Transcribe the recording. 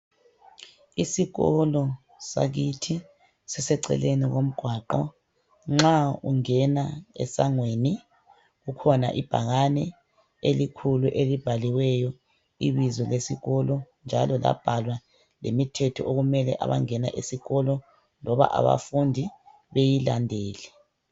Isikolo sakithi siseceleni komgwaqo nxa ungena esangweni kukhona ibhakane elikhulu elibhaliweyo ibizo lesikolo njalo labhalwa lemithetho okumele abangena esikolo loba abafundi beyilandele.